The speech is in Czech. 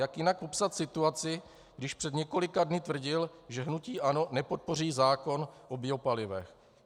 Jak jinak popsat situaci, když před několika dny tvrdil, že hnutí ANO nepodpoří zákon o biopalivech?